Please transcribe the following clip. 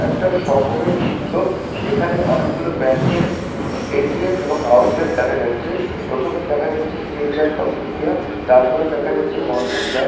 একটা শহরের চিত্র যেখানে অনেকগুলো ব্যাংক -এর এ .টি .এম. এবং আউটলেট দেখা যাচ্ছে। প্রথমেই দেখা যাচ্ছে স্টেট ব্যাঙ্ক অফ ইন্ডিয়া তারপরে দেখা যাচ্ছে বন্ধন ব্যাংক ।